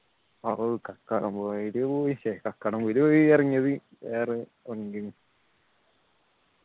ഓ കാക്കടംപൊയില് പോയിട്ട്ല്ലേ കാക്കടംപൊയില് പോയി ഇറങ്ങിയത് ഏർ